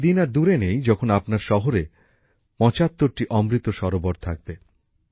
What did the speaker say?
সেই দিন আর দূরে নেই যখন আপনার জেলায় ৭৫টি অমৃত সরোবর থাকবে